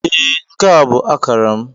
Ee, nke a bụ akara m.